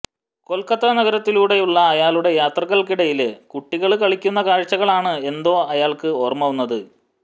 കൊല്ക്കത്ത നഗരത്തിലൂടെയുള്ള അയാളുടെ യാത്രകള്ക്കിടയില് കുട്ടികള് കളിക്കുന്ന കാഴ്ചകളാണ് എന്തോ അയാള്ക്ക് ഓര്മ വന്നത്